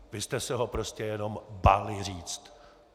Vy jste se ho prostě jenom báli říci.